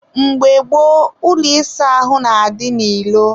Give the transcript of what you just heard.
mgbe gboo, ụlọ ịsa ahụ na-adị n'ilo.